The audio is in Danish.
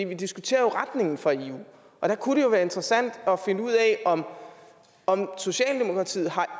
vi diskuterer jo retningen for eu og der kunne det være interessant at finde ud af om om socialdemokratiet har